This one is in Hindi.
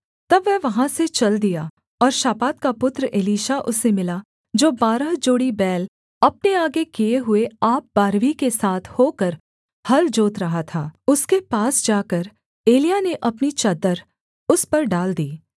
तब वह वहाँ से चल दिया और शापात का पुत्र एलीशा उसे मिला जो बारह जोड़ी बैल अपने आगे किए हुए आप बारहवीं के साथ होकर हल जोत रहा था उसके पास जाकर एलिय्याह ने अपनी चद्दर उस पर डाल दी